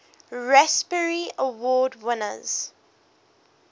raspberry award winners